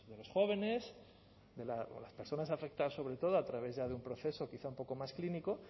los jóvenes o de las personas afectadas sobre todo a través ya de un proceso quizás algo más clínico